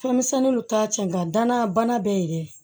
Fɛnmisɛnninw t'a cɛ nga danaya bana bɛɛ ye dɛ